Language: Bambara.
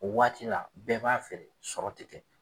O waati la bɛɛ b'a fɛ sɔrɔ tɛ kɛ.